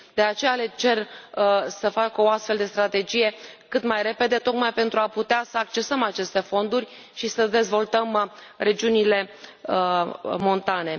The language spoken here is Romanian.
De aceea le cer să facă o astfel de strategie cât mai repede, tocmai pentru a putea să accesăm aceste fonduri și să dezvoltăm regiunile montane.